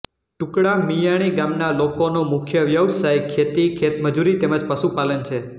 ટુકડા મિયાણી ગામના લોકોનો મુખ્ય વ્યવસાય ખેતી ખેતમજૂરી તેમ જ પશુપાલન છે